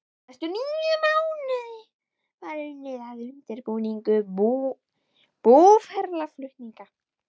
Næstu níu mánuði var unnið að undirbúningi búferlaflutninga.